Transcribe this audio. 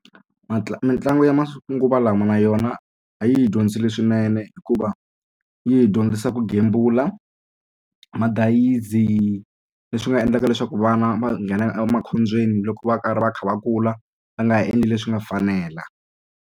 mitlangu ya manguva lawa na yona a yi hi dyondzile leswinene hikuva yi hi dyondzisa ku gembula madayizi leswi nga endlaka leswaku vana va nghena emakhobyeni loko va karhi va kha va kula va nga endli leswi nga fanela.